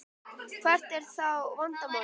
Hvert er þá vandamálið?